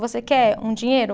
Você quer um dinheiro?